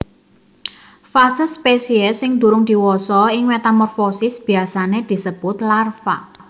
Fase spesies sing durung diwasa ing metamorfosis biasané disebut larva